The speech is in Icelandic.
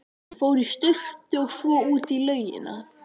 Þeir fóru í sturtu og svo út í laugina.